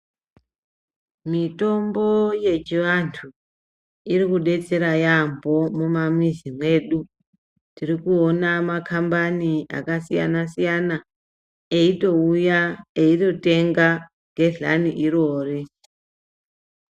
Mitombo yechivanthu iri kudetsera yaampho mumamizi mwedu tiri kuona makhambani akasiyana siyana eitouya eitotenga gedhlani irori.